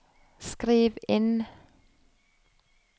skriv inn